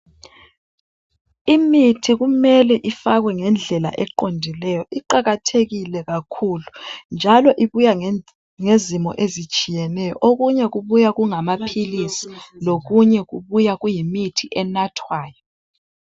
Imithi kumele ifakwe ngendlela eqondileyo, iqakathekile kakhulu, njalo ibuya ngezimo ezitshiyeneyo, okunye kubuya kungamaphilisi, lokunye kubuya kuyimithi enathwayo.